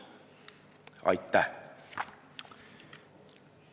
Aitäh!